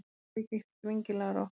sem mér þykir skringilega rokkuð.